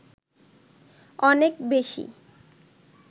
অনেক বেশি